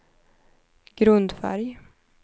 grundfärg